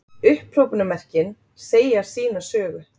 Upphrópunarmerkin segja sína sögu.